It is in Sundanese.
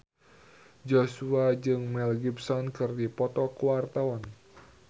Joshua jeung Mel Gibson keur dipoto ku wartawan